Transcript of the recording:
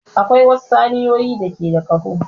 Akwai wasu saniyoyi da ke da ƙaho.